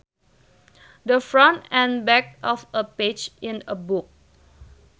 The front and back of a page in a book